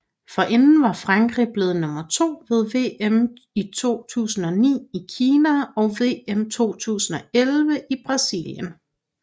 Forinden var Frankrig blevet nummer to ved VM 2009 i Kina og VM 2011 i Brasilien